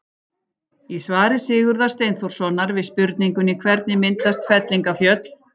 Í svari Sigurðar Steinþórssonar við spurningunni Hvernig myndast fellingafjöll?